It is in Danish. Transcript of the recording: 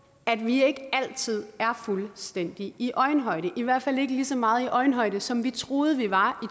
at vi ikke altid er fuldstændig i øjenhøjde vi i hvert fald ikke lige så meget i øjenhøjde som vi troede vi var